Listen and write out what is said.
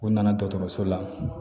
U nana dɔgɔtɔrɔso la